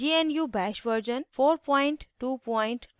gnu bash version 4224